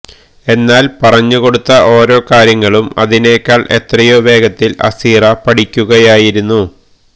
എന്നാല് പറഞ്ഞുകൊടുത്ത ഓരോ കാര്യങ്ങളും അതിനെക്കാള് എത്രയോ വേഗത്തില് അസീറ പഠിക്കുകയായിരുന്നു